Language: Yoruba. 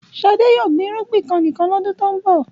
Ṣadé yóò gbin ìrúgbìn kan nìkan lọ́dún tó ń bọ̀.